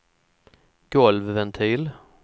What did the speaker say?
golvventil